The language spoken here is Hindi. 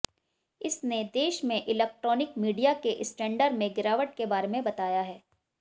इसने देश में इलैक्ट्रॉनिक मीडिया के स्टैंडर्ड में गिरावट के बारे में बताया है